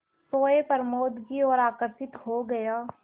सोए प्रमोद की ओर आकर्षित हो गया